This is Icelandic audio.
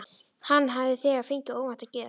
Hann hafði þegar fengið óvænta gjöf.